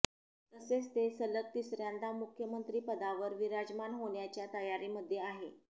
तसेच ते सलग तिसर्यांदा मुख्यमंत्रीपदावर विराजमान होण्याच्या तयारीमध्ये आहे